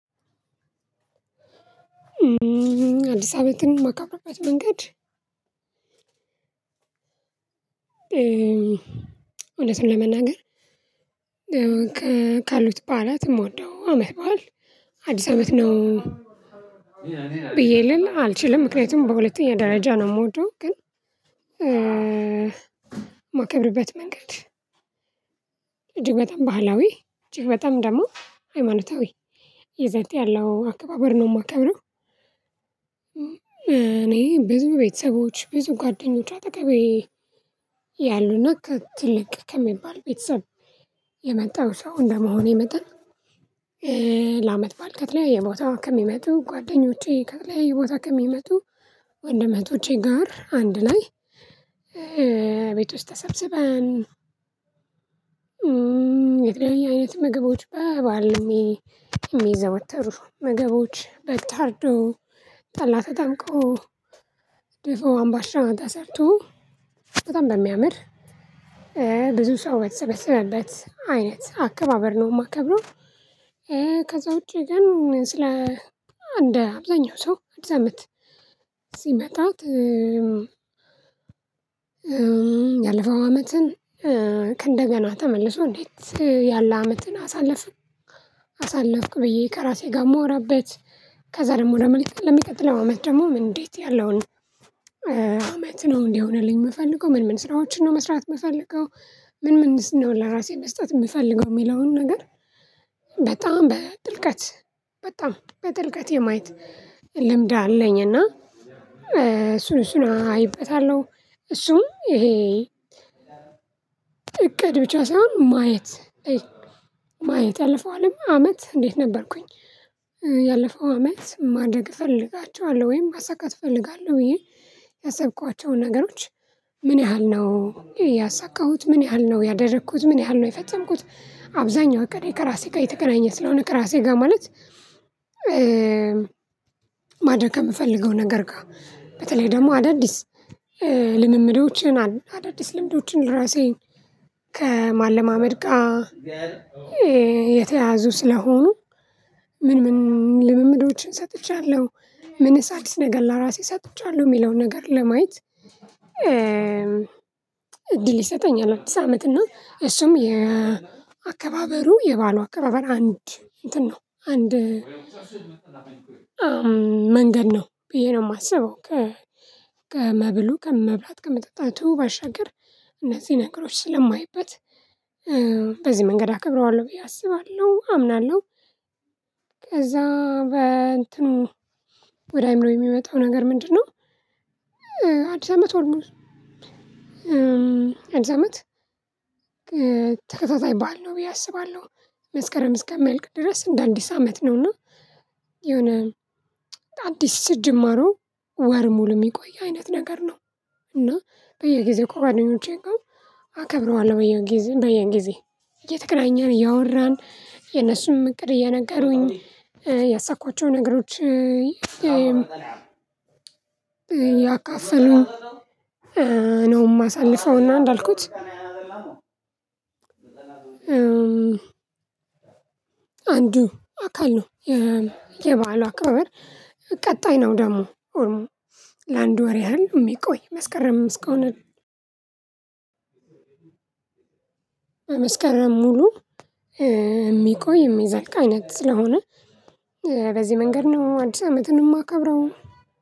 አዲስ አመትን ማከብርበት መንገድ፣ እውነቱን ለመናገር ካሉት በዓላት የምወደው አመት በዓል ነው አዲስ አመት ነው፤ ብዬ ልል አልችልም። ምክንያቱም በሁለተኛ ደረጃ ነው የምወደው። ግን ማከብርበት መንገድ፣ እጅግ በጣም ባህላዊ፣ እጅግ በጣም ደግሞ ሃይማኖታዊ፣ ይዘት ያለው አከባበር ነው የማከብረው። እኔ ብዙ ቤተሰቦች፣ ብዙ ጓደኞች አጠገቤ ያሉና ትልቅ ከሚባል ቤተሰብ የመጣው ሰው እንደመሆኔ መጠን፣ ለአመት በዓል ከተለያየ ቦታ ከሚመጡ ጓደኞቼ፣ ከተለያየ ቦታ ከሚመጡ ወንድም እህቶቼ ጋር አንድ ላይ ቤት ውስጥ ተሰብስበን እም የተለያየ አይነት ምግቦች፣ በበዓል የሚዘወተሩ ምግቦች፣ በግ ታርዶ፣ ጠላ ተጠምቆ፣ ድፎ፣ አምባሻ ተሰርቶ፣ በጣም በሚያምር ብዙ ሰው በተሰበሰበበት አይነት አከባበር ነው የማከብረው። ከዛ ውጪ ግን ስለ እንደ አብዛኛው ሰው አዲስ አመት ሲመጣ ያለፈው አመትን "ከእንደገና ተመልሶ እንዴት ያለ አመትን አሳለፍን አሳለፍኩ?" ብዬ ከራሴ ጋር የማወራበት። ከዛ ደግሞ ለመልቀቅ ለሚቀጥለው አመት ደግሞ እንዴት ያለውን አመት ነው እንዲሆንልኝ የምፈልገው? ምን ምን ስራዎችን ነው መስራት የምፈልገው? ምን ምንስ ነው ለራሴ መስጠት የምፈልገው? የሚለውን ነገር በጣም በጥልቀት በጣም በጥልቀት የማየት ልምድ አለኝ። እና እሱን እሱን አይበታለሁ እሱም ይሄ እቅድ ብቻ ሳይሆን፤ ማየት ማየት ያለፈው አለም አመት እንዴት ነበርኩኝ፣ ያለፈው አመት ማደግ እፈልጋቸዋለሁ ወይም ማሳካት እፈልጋለሁ ብዬ ያሰብኳቸውን ነገሮች ምን ያህል ነው ያሳካሁት፣ ምን ያህል ነው ያደረኩት፣ ምን ያህል ነው የፈጸምኩት፣ አብዛኛው እቅዴ ከራሴ ጋር የተገናኘ ስለሆነ፣ ከራሴ ጋር ማለት ማድረግ ከምፈልገው ነገር ጋር፣ በተለይ ደግሞ አዳዲስ ልምምዶችን፣ አዳዲስ ልምዶችን ራሴን ከማለማመድ ጋር የተያዙ ስለሆኑ፣ ምን ምን ልምምዶችን ሰጥቻለሁ? ምንስ አዲስ ነገር ለራሴ ሰጥቻለሁ? የሚለውን ነገር ለማየት፣ እድል ይሰጠኛል አዲስ አመት፤ እና እሱም የአከባበሩ የበአሉ አከባበር አንድ እንትን ነው አንድ መንገድ ነው ብዬ ነው የማስበው። ከመብሉ ከመብላት ከመጠጣቱ ባሻገር እነዚህ ነገሮች ስለማይበት፤ በዚህ መንገድ አከብረዋለሁ ብዬ አስባለሁ፣ አምናለሁ። ከዛ በእንትኑ ወደ አይምሮዬ የሚመጣው ነገር ምንድነው? አዲስ አመት ኦልሞስት እንዲስ አመት ተከታታይ በዓል ነው ብዬ አስባለሁ። መስከረም እስከሚያልቅ ድረስ እንደ አዲስ አመት ነውና የሆነ አዲስ ጅማሮ ወር ሙሉ የሚቆይ አይነት ነገር ነው። እና በየጊዜው ከጓደኞቼ ጋር አከብረዋለሁ በየጊዜው በየጊዜ እየተገናኘን እያወራን የነሱንም እቅድ እየነገሩኝ፣ ያሳኳቸው ነገሮች እያካፈሉ፣ ነው የማሳልፈውና እንዳልኩት አንዱ አካሉ ነው፣ የ የበአሉ አከባበር ቀጣይ ነው ደግሞ ለአንድ ወር ያህል የሚቆይ፤ መስከረም እስከሆነ ሙሉ የሚቆይ፣ የሚዘልቅ አይነት ስለሆነ በዚህ መንገድ ነው አዲስ አመትን የማከብረው።